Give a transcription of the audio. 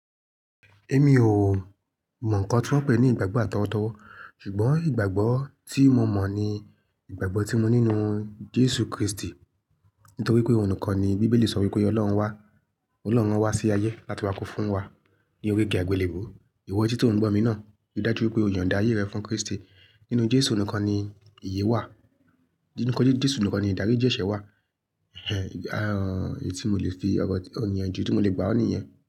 Èmi ò mọ̀ ǹkan tí wọ́n pè ní ìgbàgbọ́ àtọwọ́dọ́wọ́, ṣùgbọ́n ìgbàgbọ́ tí mo mọ̀ ni ìgbàgbọ́ tí mo ní nínú Jésù Kristi. Nítorí pé òun nìkan ni Bíbélì sọ wí pé Ọlọ́run wá, Ọlọ́run wá sí ayé láti wá kún fún wa ní orí igi àgbélébùú. Ìwọ etí tò n gbo mi náà, rí dájú wí pé o yònda ayẹ́ rẹ fún Krístì. Nínú Jésù nìkan ni ìyè wà. Nínú Jésù nìkan ni ìdáríjì ẹ̀ṣẹ̀ wà. Ẹn, aán, èyí tí mo lè fi ọ̀rò ìyànjú tí mo lè gbà ó nìyẹn.